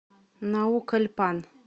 наукальпан